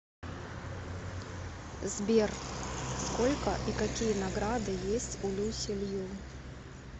сбер сколько и какие награды есть у люси лью